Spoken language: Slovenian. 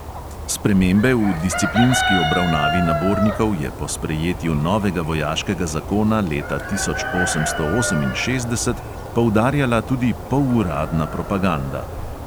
Spremembe v disciplinski obravnavi nabornikov je po sprejetju novega vojaškega zakona leta tisoč osemsto oseminšestdeset poudarjala tudi poluradna propaganda.